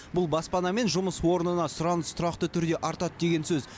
бұл баспана мен жұмыс орнына сұраныс тұрақты түрде артады деген сөз